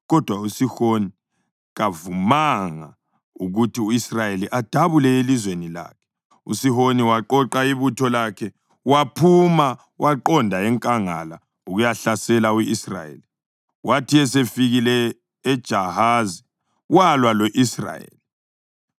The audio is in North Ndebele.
Kodwa uSihoni kavumanga ukuthi u-Israyeli adabule elizweni lakhe. USihoni waqoqa ibutho lakhe waphuma waqonda enkangala ukuyahlasela u-Israyeli. Wathi esefikile eJahazi walwa lo-Israyeli.